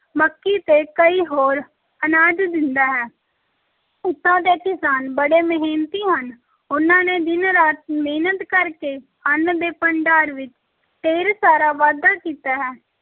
ਮੱਕੀ ਤੇ ਕਈ ਹੋਰ ਅਨਾਜ ਦਿੰਦਾ ਹੈ, ਇੱਥੋਂ ਦੇ ਕਿਸਾਨ ਬੜੇ ਮਿਹਨਤੀ ਹਨ, ਉਨ੍ਹਾਂ ਨੇ ਦਿਨ-ਰਾਤ ਮਿਹਨਤ ਕਰ ਕੇ ਅੰਨ ਦੇ ਭੰਡਾਰ ਵਿੱਚ ਢੇਰ ਸਾਰਾ ਵਾਧਾ ਕੀਤਾ ਹੈ